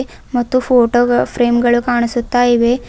ಮತ್ತು ಫೋಟೋ ಗ ಫ್ರೇಮ್ ಗಳು ಕಾಣಿಸುತ್ತಾ ಇವೆ.